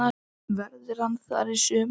Verður hann þar í sumar?